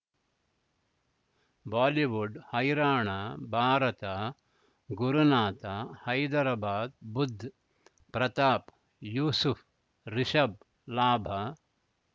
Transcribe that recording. Bollywood ಹೈರಾಣ ಭಾರತ ಗುರುನಾಥ ಹೈದರಾಬಾದ್ ಬುಧ್ ಪ್ರತಾಪ್ ಯೂಸುಫ್ ರಿಷಬ್ ಲಾಭ